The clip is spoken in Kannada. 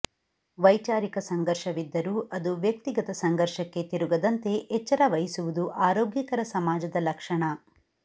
ವೈಚಾರಿಕ ಸಂಘರ್ಷವಿದ್ದರೂ ಅದು ವ್ಯಕ್ತಿಗತ ಸಂಘರ್ಷಕ್ಕೆ ತಿರುಗದಂತೆ ಎಚ್ಚರ ವಹಿಸುವುದು ಆರೋಗ್ಯಕರ ಸಮಾಜದ ಲಕ್ಷಣ